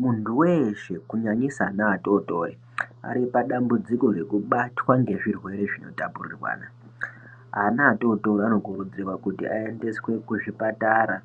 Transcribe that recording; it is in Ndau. Mundu weshe kunyanyisa ana atotori ari padambudziko rekubatwa ngezvirwere zvinotapurirwana. Ana atotori anokurudzirwa kuti ayendeswe kuzvipatara